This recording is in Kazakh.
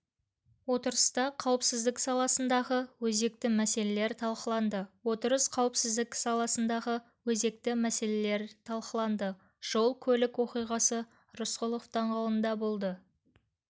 отырыста қауіпсіздік саласындағы өзекті мәселелер талқыланды отырыста қауіпсіздік саласындағы өзекті мәселелерталқыланды жол-көлік оқиғасы рысқұлов даңғылында болды